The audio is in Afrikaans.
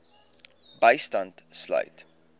bystand sluit